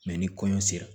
ni kɔɲɔ sera